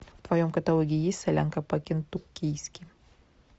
в твоем каталоге есть солянка по кентуккийски